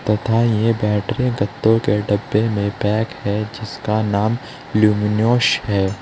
तथा ये बैटरी के डब्बों में पैक है जिसका नाम लुमिनस है।